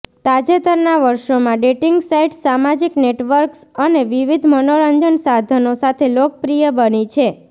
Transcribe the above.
તાજેતરના વર્ષોમાં dating sites સામાજિક નેટવર્ક્સ અને વિવિધ મનોરંજન સાધનો સાથે લોકપ્રિય બની છે